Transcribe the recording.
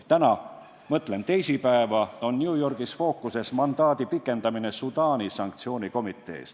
Täna – mõtlen teisipäeva – on New Yorgis fookuses mandaadi pikendamine Sudaani sanktsioonikomitees.